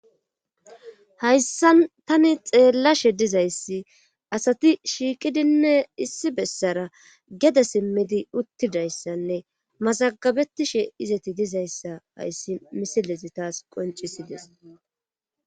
hayssan tani xeellashe dizayssi asati shiiqidinne issi bessara gede simmidi uttidayssanne mazagabetishe izati dizayssa hayssi misilezi taas qoncisides